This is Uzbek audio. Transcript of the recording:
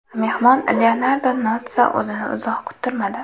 Mehmon Leonardo Notssa o‘zini uzoq kuttirmadi.